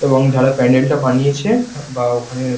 এবং যারা প্যান্ডেল টা বানিয়েছে বা ওখানে --